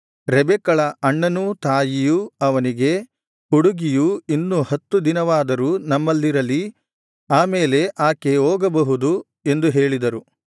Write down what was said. ರೆಬೆಕ್ಕಳ ಅಣ್ಣನೂ ತಾಯಿಯೂ ಅವನಿಗೆ ಹುಡುಗಿಯು ಇನ್ನು ಹತ್ತು ದಿನವಾದರೂ ನಮ್ಮಲ್ಲಿರಲಿ ಆ ಮೇಲೆ ಆಕೆ ಹೋಗಬಹುದು ಎಂದು ಹೇಳಿದರು